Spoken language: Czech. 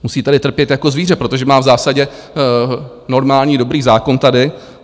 Musí tady trpět jako zvíře, protože má v zásadě normální dobrý zákon tady.